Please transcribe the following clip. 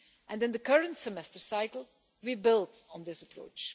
In the current semester cycle, we build on this approach.